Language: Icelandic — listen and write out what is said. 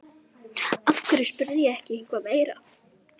Af hverju spurði ég ekki eitthvað meira?